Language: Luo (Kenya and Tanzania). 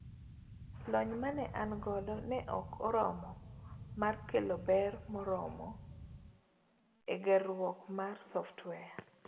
Lony mane an godo ne ok oromo mar kelo ber moromo egerruok mar software.